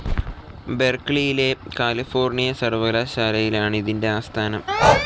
ബെർക്ലിയിലെ California സർവ്വകലാശാലയിലാണ് ഇതിന്റെ ആസ്ഥാനം.